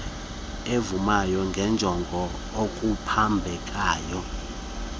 evumayo nejonga okubambekayo